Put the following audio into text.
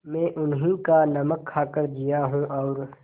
मैं उन्हीं का नमक खाकर जिया हूँ और